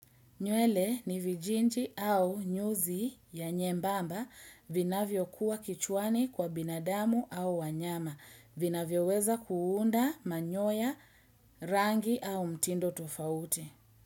Nywele ni vijinji au nyuzi ya nyembamba vinavyokuwa kichwani kwa binadamu au wanyama. Vinavyoweza kuunda manyoya rangi au mtindo tofauti.